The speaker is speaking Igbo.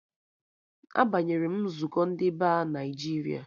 A banyere m nzukọ ndị Ba Naịjiria